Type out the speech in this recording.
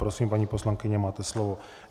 Prosím, paní poslankyně, máte slovo.